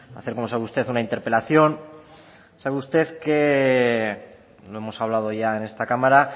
a hacer como sabe usted una interpelación sabe usted que lo hemos hablado ya en esta cámara